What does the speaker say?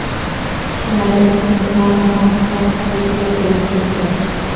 Tishlari ikkinchi marta ham chiqib, ko‘pi to‘kilib ketdi.